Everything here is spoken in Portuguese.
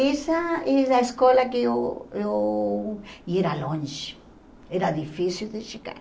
Essa e na escola que eu eu... e era longe, era difícil de chegar.